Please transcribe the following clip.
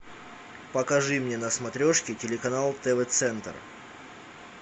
покажи мне на смотрешке телеканал тв центр